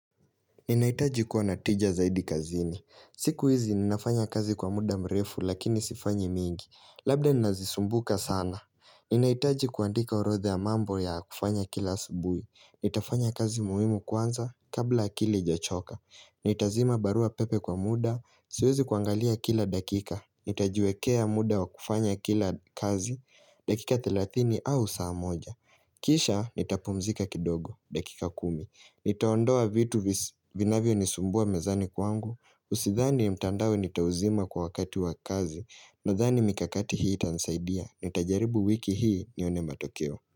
Ninahitaji kuwa natija zaidi kazini. Siku hizi ninafanya kazi kwa muda mrefu lakini sifanyi mingi. Labda ninazisumbuka sana. Ninahitaji kuandika orodha ya mambo ya kufanya kila asubuhi. Nitafanya kazi muhimu kwanza kabla akili ijachoka. Nitazima barua pepe kwa muda. Siwezi kuangalia kila dakika. Nitajiwekea muda wa kufanya kila kazi. Dakika thelathini au saa moja Kisha nitapumzika kidogo dakika kumi. Nitaondoa vitu vinavyonisumbua mezani kwangu. Usidhani ni mtandao nitauzima kwa wakati wa kazi, nadhani mikakati hii itanisaidia Nitajaribu wiki hii nione matokeo.